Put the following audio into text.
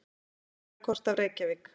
Jarðfræðikort af Reykjavík.